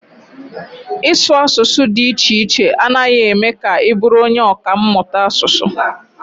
Ịsụ asụsụ dị iche iche anaghị eme ka ị bụrụ onye ọkà mmụta asụsụ.